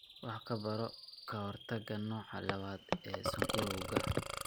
Wax ka baro ka hortagga nooca lawaad ee sonkorowga.